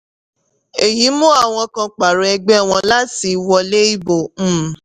èyí mú àwọn kan pààrọ̀ ẹgbẹ́ wọn láti wọlé ìbò. um